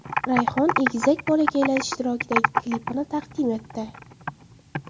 Rayhon egizak bolakaylar ishtirokidagi klipini taqdim etdi.